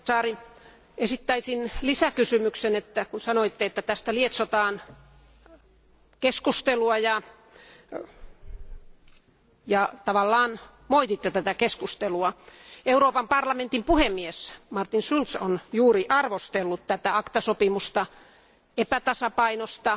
Arvoisa komissaari, esittäisin lisäkysymyksen. Sanoitte, että tästä lietsotaan keskustelua ja tavallaan moititte tätä keskustelua. Euroopan parlamentin puhemies Martin Schulz on juuri arvostellut tätä ACTA sopimusta epätasapainosta.